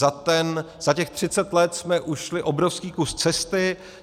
Za těch 30 let jsme ušli obrovský kus cesty.